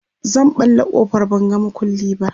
zan ɓalla ƙofar ban ga maƙulli ba